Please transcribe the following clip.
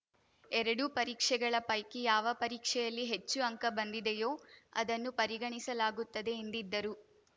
ಎರಡೂ ಪರೀಕ್ಷೆಗಳ ಪೈಕಿ ಯಾವ ಪರೀಕ್ಷೆಯಲ್ಲಿ ಹೆಚ್ಚು ಅಂಕ ಬಂದಿದೆಯೋ ಅದನ್ನು ಪರಿಗಣಿಸಲಾಗುತ್ತದೆ ಎಂದಿದ್ದರು